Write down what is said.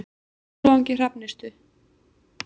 Skjólvangi Hrafnistu